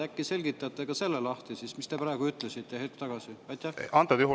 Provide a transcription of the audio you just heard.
Äkki selgitate siis ka selle lahti, mis te praegu ütlesite, hetk tagasi?